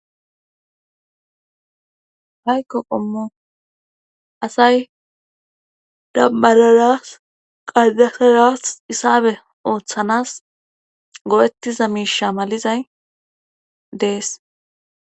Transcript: haykko qommo asay dabbararas qadasaras isaabe ooththanas goettiza miisha malizay dees